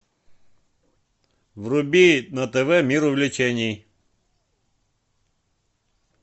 вруби на тв мир увлечений